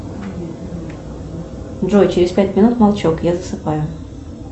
джой через пять минут молчок я засыпаю